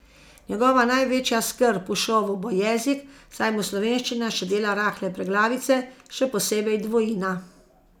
Njegova največja skrb v šovu bo jezik, saj mu slovenščina še dela rahle preglavice, še posebej dvojina.